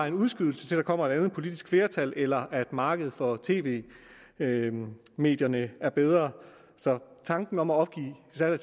en udskydelse til der kommer et andet politisk flertal eller markedet for tv medierne er bedre så tanken om at opgive salg af